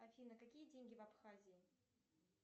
афина какие деньги в абхазии